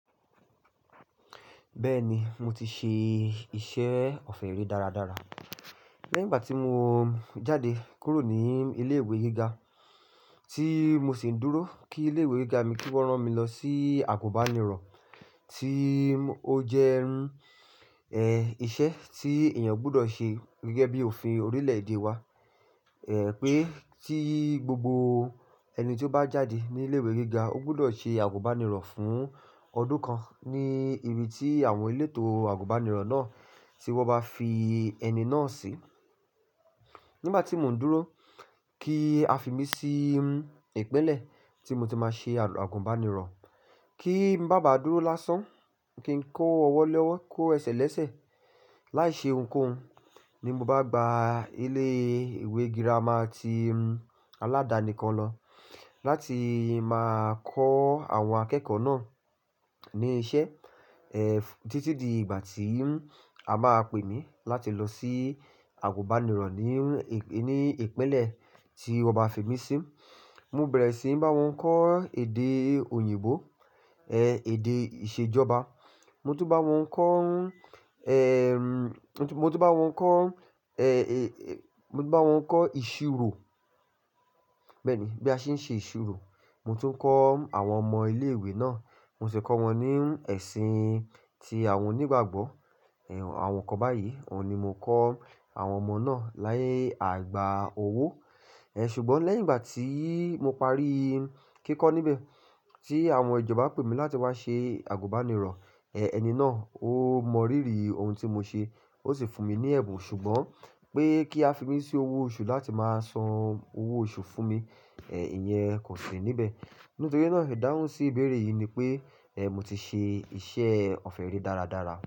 Bẹ́ẹ̀ni, mo ti ṣe iṣẹ́ ọ̀fẹ̀ ri dára dára. Lẹ́yìn ìgbà tí mo jáde kúrò ní ilé ìwé gíga tí mo sì ń dúró kí ilé ìwé gíga mi kí wọ́n rán mi lọ sí àgùnbánirọ̀ tí ó jẹ́ iṣẹ́ tí èèyàn gbudọ̀ ṣe gẹ́gẹ́ bí òfin orílẹ̀-èdè wa. Pé tí gbogbo ẹni tí ó bá jáde ní ilé ìwé gíga ó gbudọ̀ ṣe àgùnbánirọ̀ fún ọdún kan ní ibi tí àwọn elétò àgùnbánirọ̀ náà tí wọ́n bá fi ẹni náà sí. Nígbà tí mò ń dúró kí a fi mí sí ìpínlẹ̀ tí mo ti máa ṣe àgùnbánirọ̀, kí n bá bàa dúró lásán, kí n kó ọwọ́ lẹ́wọ́, kó ẹsẹ̀ lẹ́sẹ̀. Láì ṣe ohunkóhun ní mo bá gba ilé ìwé gírámà ti aládàáni kan lọ láti máa kọ́ àwọn akẹ́kọ̀ọ́ náà ní iṣẹ́, títí di ìgbà tí a bá pé mi láti lọ sí àgùnbánirọ̀ ní ìpínlẹ̀ tí wọ́n bá fi mí sí. Mo bẹ̀rẹ̀ síi bá wọn kọ́ èdè òyìnbó, èdè ìṣèjọba. Mo tún bá wọn kọ́, mo tún bá wọn kọ́, mo tún bá wọn kọ́ ìṣirò. Bẹ́ẹ̀ni, bí a ṣe ń ṣe ìṣirò. Mo tún ń kọ́ àwọn ọmọ ilé ìwé náà. Mo sì ń kọ́ wọn ní ẹ̀sìn tí àwọn onígbàgbọ́, àwọn kan báyìí, òun ni mo kọ́ àwọn ọmọ náà ni aigbà owó. Ṣùgbọ́n lẹ́yìn ìgbà tí mo parí kíkọ́ níbẹ̀ tí àwọn ìjọba pè mí láti wá ṣe àgùnbánirọ̀, ẹni náà ó mọ ríri ohun tí mo ṣe, ó sì fún mi ní ẹ̀bùn. Ṣùgbọ́n pé kí a fi mí sí owó oṣù láti máa san owó oṣù fún mi, ìyẹn kò sì níbẹ̀. Nítorí náà ìdáhùn sí ìbéèrè yìí ni pé mo ti ṣe iṣẹ́ ọ̀fẹ̀ ri dára dára.